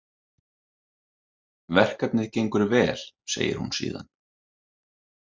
Verkefnið gengur vel, segir hún síðan.